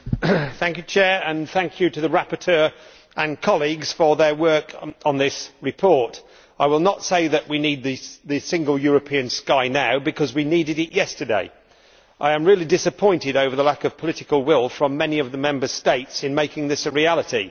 Madam President, I would like to thank the rapporteur and colleagues for their work on this report. I will not say that we need the Single European Sky now, because we needed it yesterday. I am really disappointed over the lack of political will from many of the Member States in making this a reality.